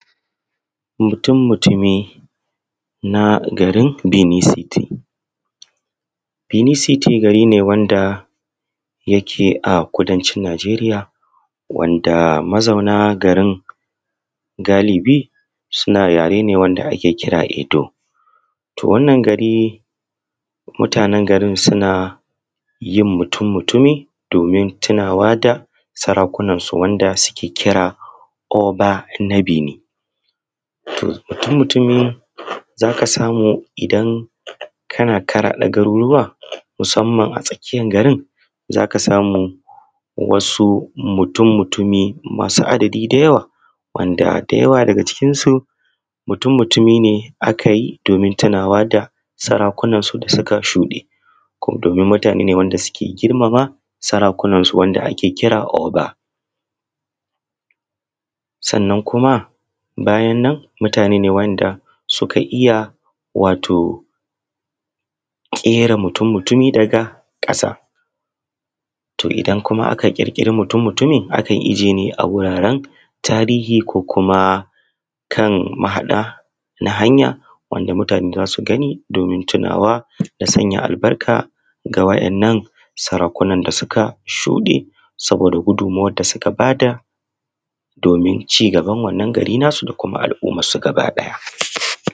Mutum-mutumi na garin Bini citi. Beni citi gari ne wanda yake a kudan cin Nigeriya wanda mazauna garin galibi suna yare ne wanda ake jira Edo. To, wannan gari mutanen garin suna yin mutum-mutumi domin tinawa da sarakunan su wanda suke kira Oba na Beni, mutumutumi za ka samu idan kana kaɗa garurruwa musamman a tsakiyan garin za ka samu wasu mutum-mutumi masu adadi da yawa wanda da yawa daga cikin su mutum-mutumi ne aka yi domin tunawa da sarakunan su da suka shuɗe domin mutane ne da suke girmama sarakunan su da ake kira Oba. Sannan kuma bayan nan mutane wanda suka iya wato ƙera mutum-mutumi daga ƙasa to idan kuma aka ƙirƙira mutum-mutumi akan ijiye ne a wuraren tarihi ko kuma kan mahaɗa na hanya wanda mutane za su gani domin tunawa da sanya albarka da waɗannan sarakunan da suka shuɗe, saboda gudunmuwar da suka ba da domin ci gaban wannan gari nasu da kuma al’umman su gaba ɗaya.